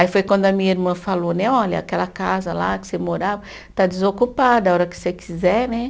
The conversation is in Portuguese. Aí foi quando a minha irmã falou né, olha, aquela casa lá que você morava está desocupada, a hora que você quiser né.